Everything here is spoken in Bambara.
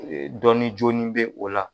Dɔnni jɔni bɛ o la